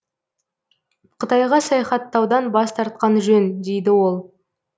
қытайға саяхаттаудан бас тартқан жөн дейді ол